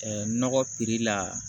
nɔgɔ la